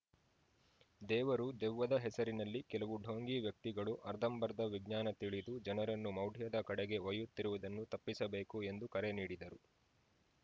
ದೇವರು ದೆವ್ವದ ಹೆಸರಿನಲ್ಲಿ ಕೆಲವು ಢೋಂಗಿ ವ್ಯಕ್ತಿಗಳು ಅರ್ಧಂಬರ್ಧ ವಿಜ್ಞಾನ ತಿಳಿದು ಜನರನ್ನು ಮೌಢ್ಯದ ಕಡೆಗೆ ಒಯ್ಯುತ್ತಿರುವುದನ್ನು ತಪ್ಪಿಸಬೇಕು ಎಂದು ಕರೆ ನೀಡಿದರು